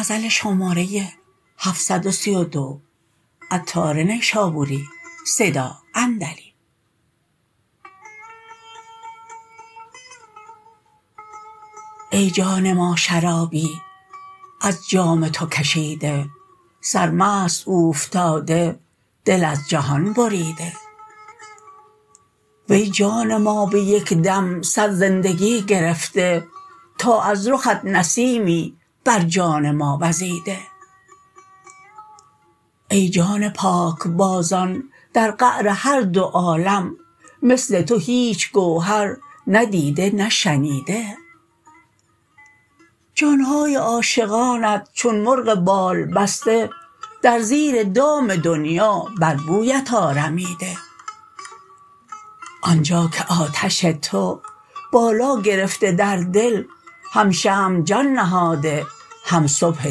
ای جان ما شرابی از جام تو کشیده سرمست اوفتاده دل از جهان بریده وی جان ما به یک دم صد زندگی گرفته تا از رخت نسیمی بر جان ما وزیده ای جان پاکبازان در قعر هر دو عالم مثل تو هیچ گوهر نه دیده نه شنیده جان های عاشقانت چون مرغ بال بسته در زیر دام دنیا بر بویت آرمیده آنجا که آتش تو بالا گرفته در دل هم شمع جان نهاده هم صبح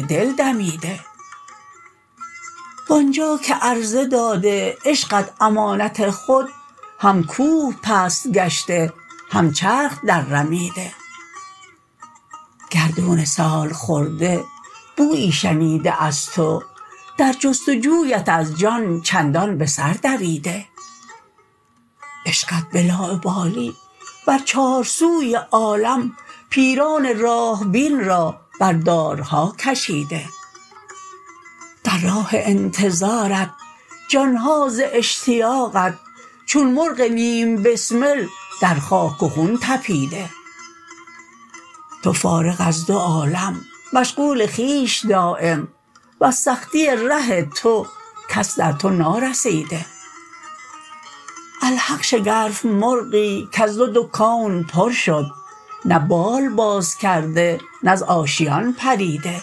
دل دمیده وآنجا که عرضه داده عشقت امانت خود هم کوه پست گشته هم چرخ در رمیده گردون سالخورده بویی شنیده از تو در جست و جویت از جان چندان به سر دویده عشقت به لاابالی بر چار سوی عالم پیران راه بین را بر دارها کشیده در راه انتظارت جان ها ز اشتیاقت چون مرغ نیم بسمل در خاک و خون تپیده تو فارغ از دو عالم مشغول خویش دایم وز سختی ره تو کس در تو نارسیده الحق شگرف مرغی کز تو دو کون پر شد نه بال باز کرده نه ز آشیان پریده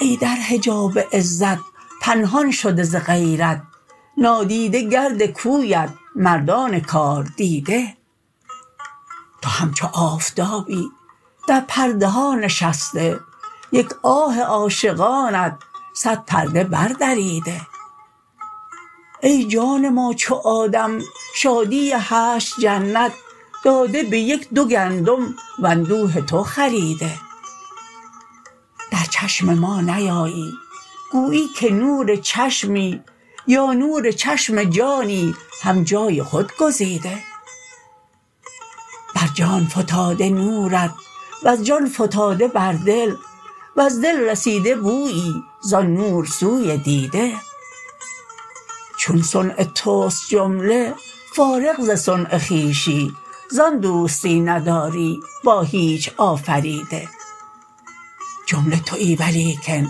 ای در حجاب عزت پنهان شده ز غیرت نادیده گرد کویت مردان کار دیده تو همچو آفتابی در پرده ها نشسته یک آه عاشقانت صد پرده بر دریده ای جان ما چو آدم شادی هشت جنت داده به یک دو گندم واندوه تو خریده در چشم ما نیایی گویی که نور چشمی یا نور چشم جانی هم جای خود گزیده بر جان فتاده نورت وز جان فتاده بر دل وز دل رسیده بویی زان نور سوی دیده چون صنع توست جمله فارغ ز صنع خویشی زان دوستی نداری با هیچ آفریده جمله تویی ولیکن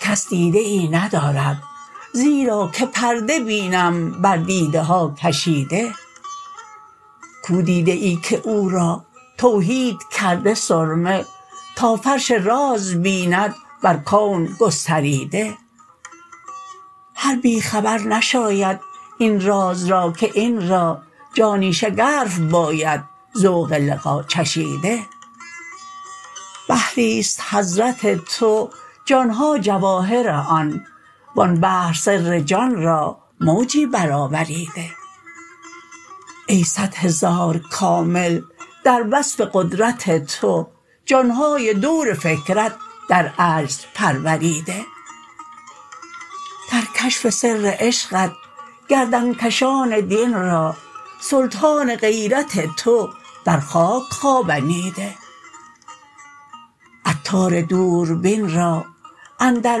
کس دیده ای ندارد زیرا که پرده بینم بر دیده ها کشیده کو دیده ای که او را توحید کرده سرمه تا فرش راز بیند بر کون گستریده هر بی خبر نشاید این راز را که این را جانی شگرف باید ذوق لقا چشیده بحری است حضرت تو جان ها جواهر آن وان بحر سر جان را موجی برآوریده ای صد هزار کامل در وصف قدرت تو جان های دور فکرت در عجز پروریده در کشف سر عشقت گردن کشان دین را سلطان غیرت تو بر خاک خوابنیده عطار دوربین را اندر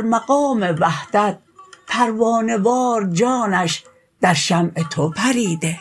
مقام وحدت پروانه وار جانش در شمع تو پریده